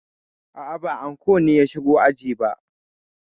A'a, ba anko ne ya shigo aji ba.